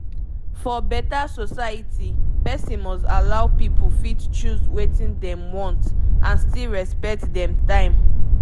for beta society person must allow pipu fit choose wetin dem want and still respect dem time